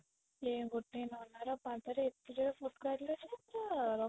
ଏ ଗୋଟେ ନନା ର ପାଦରେ ଏତେ ଜୋର ରେ ଫୋଟକା ହେଇଥିଲା ଯେ ପୁରା